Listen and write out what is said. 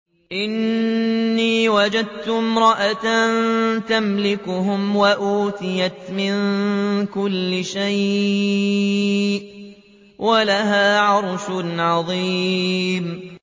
إِنِّي وَجَدتُّ امْرَأَةً تَمْلِكُهُمْ وَأُوتِيَتْ مِن كُلِّ شَيْءٍ وَلَهَا عَرْشٌ عَظِيمٌ